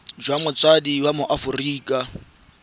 jwa motsadi wa mo aforika